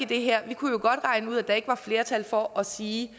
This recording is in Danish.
det her vi kunne jo godt regne ud at der ikke var flertal for at sige at